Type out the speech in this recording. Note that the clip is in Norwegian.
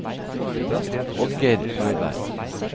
Oddgeir Løberg